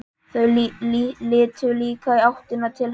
Þau litu líka í áttina til hans.